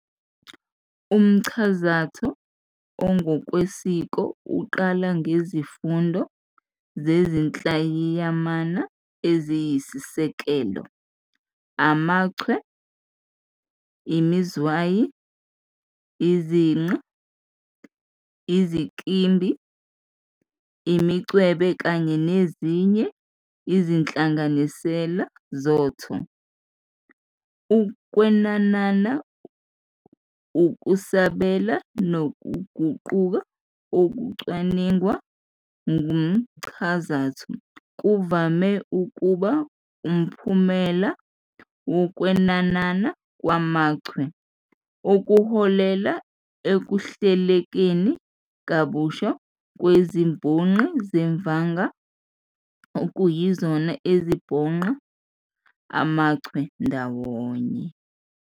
Umchazatho ongokwesiko uqala ngesifundo sezinhlayiyamana eziyisiseko, amachwe, imizwayi, iziqa, izinkimbi, imincwebe kanye nezinye izinhlanganisela zotho. Ukwenanana, ukusabela nokuguquka okucwaningwa kumchazatho kuvame ukuba umphumela wokwenanana kwamachwe, okuholela ekuhlelekeni kabusha kwezibhonqi zevanga okuyizona ezibhonqa amachwe ndawonye.